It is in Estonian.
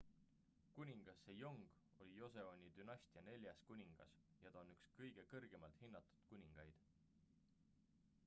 kuningas sejong oli joseoni dünastia neljas kuningas ja ta on üks kõige kõrgemalt hinnatud kuningaid